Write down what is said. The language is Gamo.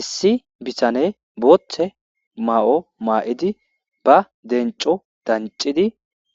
issi bitane booththe maa7o maa7idi ba denco dancidi